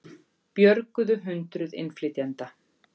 Björguðu hundruð innflytjenda